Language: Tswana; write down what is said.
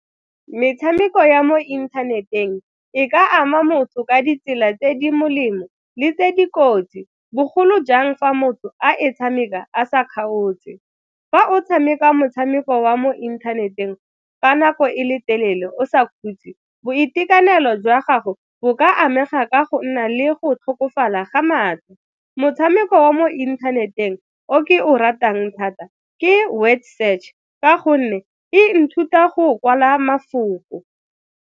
Metshameko ya mo inthaneteng e ka ama motho ka ditsela tse di molemo le tse dikotsi bogolo jang fa motho a e tshameka a sa kgaotse. Fa o tshameka motshameko wa mo inthaneteng fa nako e le telele o sa ikhutse boitekanelo jwa gago bo ka amega ka go nna le go tlhokofala ga matlho, motshameko wa mo inthaneteng o ke o ratang thata ke Word Search ka gonne e nthuta go kwala mafoko.